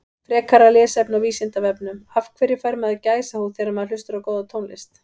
Frekara lesefni á Vísindavefnum Af hverju fær maður gæsahúð þegar maður hlustar á góða tónlist?